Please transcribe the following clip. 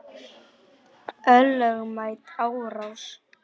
Ólögmæt árás.